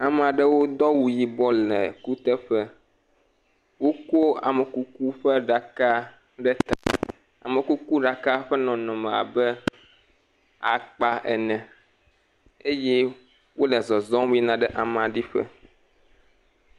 Ame aɖewo do awu yibɔ le kuteƒe, woko amekuku ƒe aɖaka ɖe ta,, amekukuɖala ƒe nɔnɔme le abe akpa ene eye wole zɔzɔm yina ɖe amea ɖi ƒe.